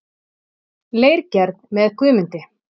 Leirgerð með Guðmundi